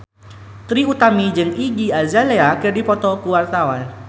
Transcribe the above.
Trie Utami jeung Iggy Azalea keur dipoto ku wartawan